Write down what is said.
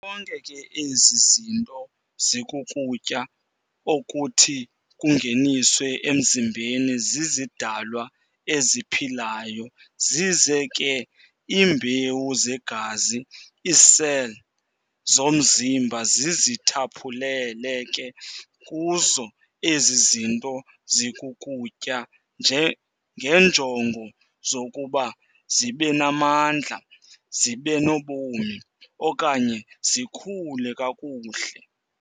Zonke ke ezi zinto zikukutya okuthi kungeniswe emzimbeni zizidalwa eziphilayo zize ke iimbewu zegazi, iicell, zomzimba zizithaphulele ke kuzo ezi zinto zikukutya ngeenjongo zokuba zibenamandla, zibenobomi, okanye zikhule kakuhle.